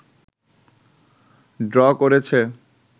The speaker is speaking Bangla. ড্র করেছে